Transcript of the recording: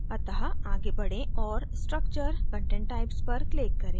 अत: आगे बढे और structure content types पर click करें